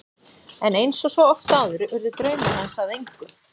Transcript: En eins og svo oft áður urðu draumar hans að engu.